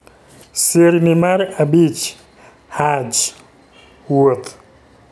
Sirni mar abich: Hajj (Wuoth)